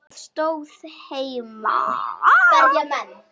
Það stóð heima.